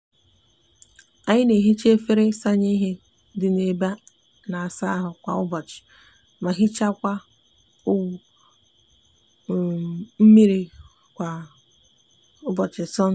anyi n'ehicha efere isanye ihe di n'ebe a n'asa ahu kwa ubochi ma hichakwa owu mmiri kwa ubochi sonde.